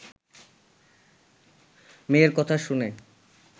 মেয়ের কথা শুনে